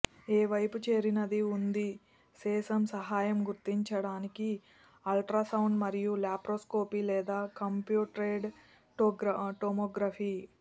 ఏ వైపు చేరినది ఉంది సెసం సహాయం గుర్తించడానికి ఆల్ట్రాసౌండ్ను మరియు లాప్రోస్కోపీ లేదా కంప్యూటెడ్ టోమోగ్రఫీ